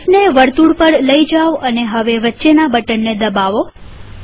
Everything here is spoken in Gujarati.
માઉસને વર્તુળ પર લઇ જાઓ અને હવે વચ્ચેના બટનને દબાવો